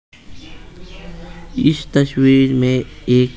इस तस्वीर में एक --